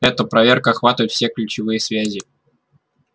это проверка охватывает все ключевые связи